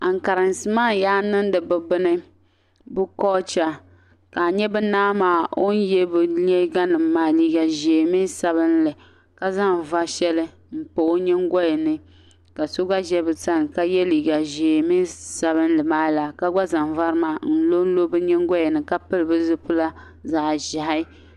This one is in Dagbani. Ankarinsi maa yaa niŋdi bɛ bini bɛ culture, ka nya bɛ naa maa o ye bɛ liiga, liiga ʒee mini sabinli, ka zaŋ vari shɛli n pa o nyingoli ni, ka so gba ʒi bɛ sani ka ye liiga ʒee mini sabinli maa laa, ka zaŋ vari maa n lo n lo bɛ nyingoli ni, pili bɛ zipila zaɣ' ʒehi.